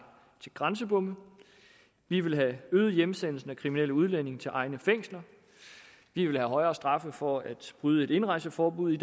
til grænsebomme vi vil have øget hjemsendelsen af kriminelle udlændinge til egne fængsler vi vil have højere straffe for at bryde et indrejseforbud